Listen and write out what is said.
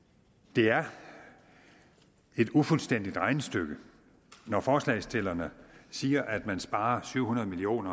det er et ufuldstændigt regnestykke når forslagsstillerne siger at man sparer syv hundrede million